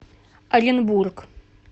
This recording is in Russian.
оренбург